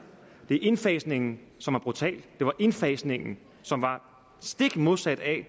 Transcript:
det var indfasningen som var brutal det var indfasningen som var stik modsat af